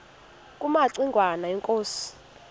kumaci ngwana inkosi